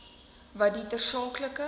wat die tersaaklike